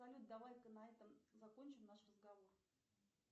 салют давай ка на этом закончим наш разговор